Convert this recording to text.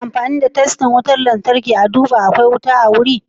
Ana amfani da testan wutan lantarki ana duba ko akwai wuta a wuri.